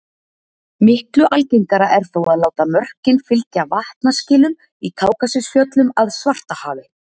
miklu algengara er þó að láta mörkin fylgja vatnaskilum í kákasusfjöllum að svartahafi